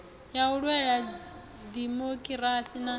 ya u lwela dimokirasi na